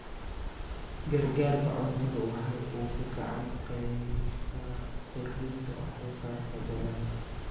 Gargaarka cuntadu waxa uu gacan ka geystaa kordhinta wax soo saarka dalagga.